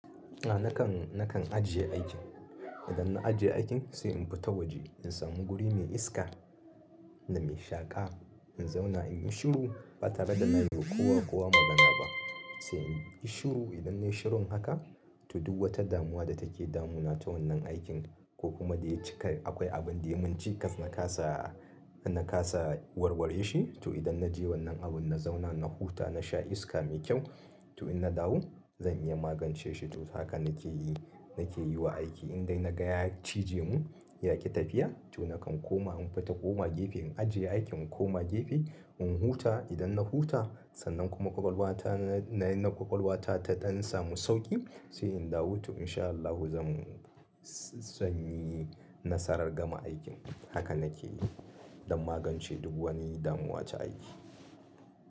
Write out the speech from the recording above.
A na kan, na kan ajiye aikin. Idan na ajiye aikin sai in fita waje in samu guri mai iska da mai shaka in zauna inyi shiru ba tare da na yi wa kowa kowa magana ba. Sai inyi shiru idan nayi shirun haka to duk wata damuwa da take damuna ta wannan aikin ko kuma da ya cika akwai abin da mun cikas na kasa, na kasa warware shi to idan na je wannan abun na zauna na huta na sha iska mai kyau to in na dawo zan iya magance shi. To haka na ke yi, na ke yi wa aiki indai na ga ya cije mun ya ki tafiya to na kan koma in fita koma gefe in ajiye aikin in koma gefe in huta. Idan na huta sannan kuma ƙwaƙwalwa ta, na yi na ƙwaƙwalwa ta ta ɗan samu sauƙi sai in dawo to in sha Allahu zan, zan yi nasarar gama aikin. Haka na ke yi don magance duk wani damuwa ta aiki.